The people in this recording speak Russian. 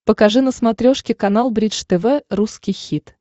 покажи на смотрешке канал бридж тв русский хит